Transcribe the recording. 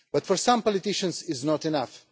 But for some politicians this is not enough.